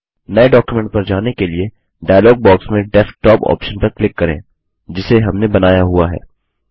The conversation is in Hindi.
नये डॉक्युमेंट पर जाने के लिए डायलॉग बॉक्स में डेस्कटॉप ऑप्शन पर क्लिक करें जिसे हमने बनाया हुआ है